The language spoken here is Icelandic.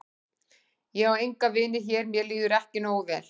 Ég á enga vini hér mér líður ekki nógu vel.